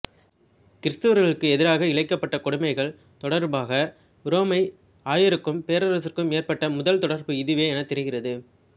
கிறித்தவர்களுக்கு எதிராக இழைக்கப்பட்ட கொடுமைகள் தொடர்பாக உரோமை ஆயருக்கும் பேரரசுக்கும் ஏற்பட்ட முதல் தொடர்பு இதுவே எனத் தெரிகிறது